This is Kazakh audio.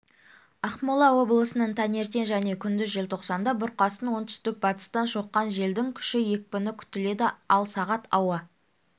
ақмола облысының таңертең және күндіз желтоқсанда бұрқасын оңтүстік-батыстан соққан желдің күші екпіні күтіледі ал сағат ауа